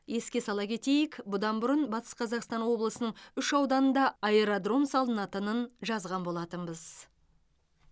еске сала кетейік бұдан бұрын батыс қазақстан облысының үш ауданында аэродром салынатынын жазған болатынбыз